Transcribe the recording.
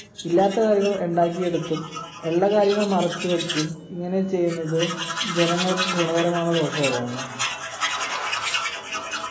ഇല്ലാത്ത കാര്യങ്ങൾ ഇണ്ടാക്കിയെടുത്തും ഉള്ള കാര്യങ്ങൾ മറച്ചുവെച്ചും ഇങ്ങനെ ചെയ്യുന്നത് ജനങ്ങൾക്ക് ഗുണകരമാണോ ദോഷകരമാണോ